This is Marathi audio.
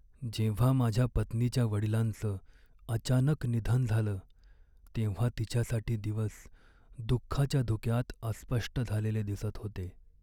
जेव्हा माझ्या पत्नीच्या वडिलांचं अचानक निधन झालं तेव्हा तिच्यासाठी दिवस दुःखाच्या धुक्यात अस्पष्ट झालेले दिसत होते.